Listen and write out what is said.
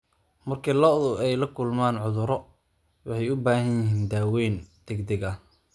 Marka lo'du ay la kulmaan cudurro, waxay u baahan yihiin daaweyn degdeg ah.